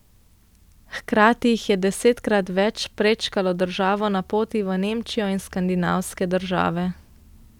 Hkrati jih je desetkrat več prečkalo državo na poti v Nemčijo in skandinavske države.